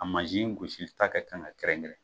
A mansin gusita ka kan ka kɛrɛn kɛɛrɛn.